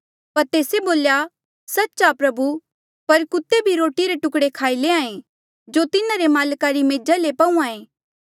पर तेस्से बोल्या सच्च आ प्रभु पर कुत्ते भी रोटी रे टुकड़े खाई लैंहां ऐें जो तिन्हारे माल्का री मेजा ले पहूंआं ऐें